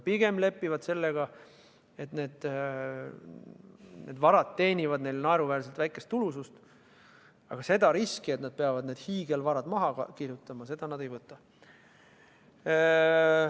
Pigem lepivad sellega, et need varad teenivad neile naeruväärselt väikest tulu, aga seda riski, et nad peavad need hiigelvarad maha kandma, nad ei võta.